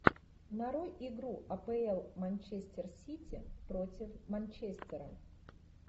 нарой игру апл манчестер сити против манчестера